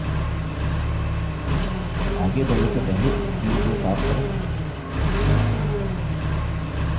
आगे बढ़ने से पहले screen को साफ करें